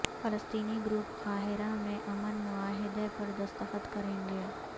فلسطینی گروپ قاہرہ میں امن معاہدے پر دستخط کرینگے